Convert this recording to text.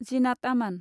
जीनात आमान